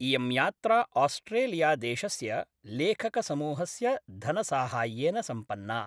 इयं यात्रा आस्ट्रेलिया देशस्य लेखकसमूहस्य धनसाहाय्येन सम्पन्ना।